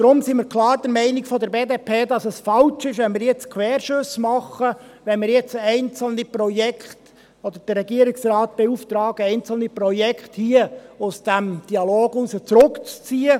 Deshalb sind wir von der BDP klar der Meinung, dass es falsch ist, wenn wir nun Querschüsse machen, wenn wir nun den Regierungsrat beauftragen, einzelne Projekte hier aus dem Dialog zurückzuziehen.